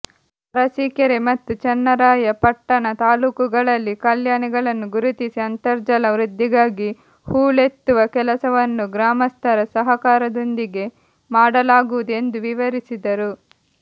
ಅರಸೀಕೆರೆ ಮತ್ತು ಚನ್ನರಾಯಪಟ್ಟಣ ತಾಲ್ಲೂಕುಗಳಲ್ಲಿ ಕಲ್ಯಾಣಿಗಳನ್ನು ಗುರುತಿಸಿ ಅಂತರ್ಜಲ ವೃದ್ಧಿಗಾಗಿ ಹೂಳೆತ್ತುವ ಕೆಲಸವನ್ನು ಗ್ರಾಮಸ್ಥರ ಸಹಕಾರದೊಂದಿಗೆ ಮಾಡಲಾಗುವುದು ಎಂದು ವಿವರಿಸಿದರು